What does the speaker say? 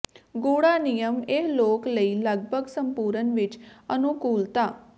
ਗੂੜ੍ਹਾ ਨਿਯਮ ਇਹ ਲੋਕ ਲਈ ਲਗਭਗ ਸੰਪੂਰਣ ਵਿਚ ਅਨੁਕੂਲਤਾ